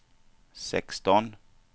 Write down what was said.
sexton